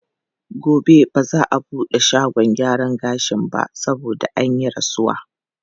Gobe ba za a buɗe shagon gyaran gashin ba saboda an yi rasuwa.